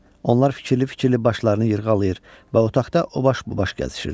Onlar fikirli-fikirli başlarını yırğalayır və otaqda o baş bu baş gəzişirdilər.